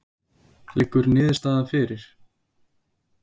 Liggur niðurstaða fyrir?